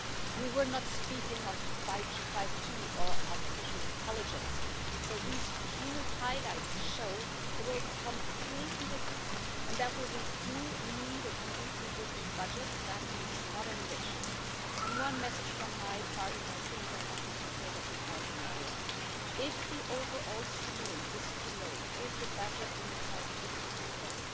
We were not speaking of 5G or artificial intelligence. These few highlights show that the world is completely different and that we do need a completely different budget that means modernisation. One message from my part, and I think I have the support of the Parliament on this if the overall ceiling is too low, if the budget in itself is too small,